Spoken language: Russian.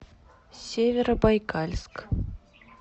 северобайкальск